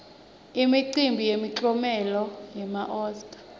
imicimbi yemiklomelo wema oscar